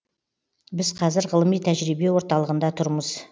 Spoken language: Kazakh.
біз қазір ғылыми тәжірибе орталығында тұрмыз